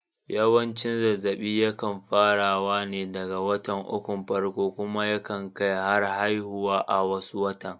Yawanci zazzaɓi ya kan fara wa ne daga watan ukun farko kuma ya kan kai har haihuwa a wasu matan